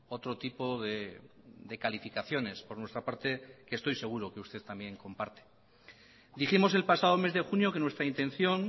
otro tipo de calificaciones por nuestra parte que estoy seguro que usted también comparte dijimos el pasado mes de junio que nuestra intención